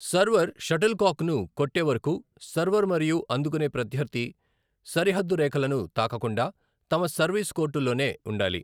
Server షటిల్కాక్ను కొట్టే వరకు సర్వర్ మరియు అందుకునే ప్రత్యర్థి సరిహద్దు రేఖలను తాకకుండా తమ సర్వీస్ కోర్టుల్లోనే ఉండాలి.